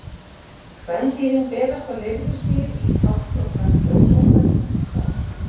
Kvendýrin berast á lirfustigi í tálkn á kröbbum og festa sig þar.